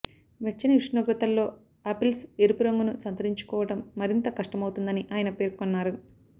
వెచ్చని ఉష్ణోగ్రతల్లో ఆపిల్స్ ఎరుపు రంగును సంతరించుకోవటం మరింత కష్టమవుతుందని ఆయన పేర్కొన్నారు